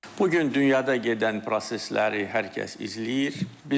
Bu gün dünyada gedən prosesləri hər kəs izləyir.